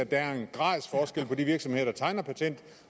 der er en gradsforskel på de virksomheder der tegner patent